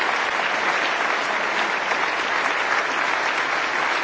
Meine Damen und Herren, ich lege jetzt die Urkunden